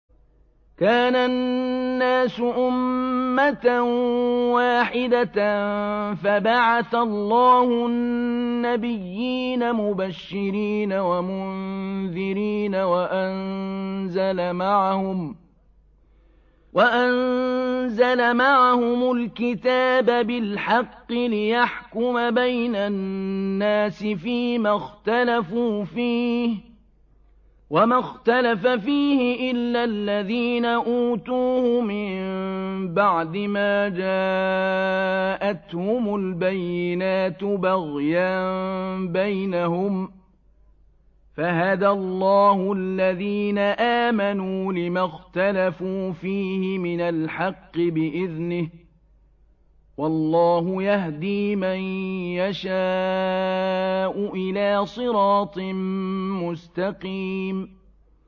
كَانَ النَّاسُ أُمَّةً وَاحِدَةً فَبَعَثَ اللَّهُ النَّبِيِّينَ مُبَشِّرِينَ وَمُنذِرِينَ وَأَنزَلَ مَعَهُمُ الْكِتَابَ بِالْحَقِّ لِيَحْكُمَ بَيْنَ النَّاسِ فِيمَا اخْتَلَفُوا فِيهِ ۚ وَمَا اخْتَلَفَ فِيهِ إِلَّا الَّذِينَ أُوتُوهُ مِن بَعْدِ مَا جَاءَتْهُمُ الْبَيِّنَاتُ بَغْيًا بَيْنَهُمْ ۖ فَهَدَى اللَّهُ الَّذِينَ آمَنُوا لِمَا اخْتَلَفُوا فِيهِ مِنَ الْحَقِّ بِإِذْنِهِ ۗ وَاللَّهُ يَهْدِي مَن يَشَاءُ إِلَىٰ صِرَاطٍ مُّسْتَقِيمٍ